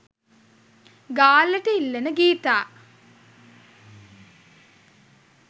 ගාල්ලට ඉල්ලන ගීතා